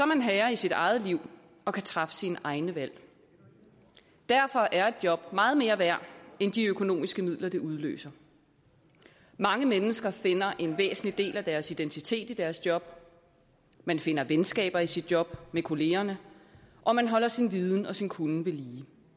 man herre i sit eget liv og kan træffe sine egne valg derfor er et job meget mere værd end de økonomiske midler det udløser mange mennesker finder en væsentlig del af deres identitet i deres job man finder venskaber i sit job med kollegaerne og man holder sin viden og sin kunnen ved lige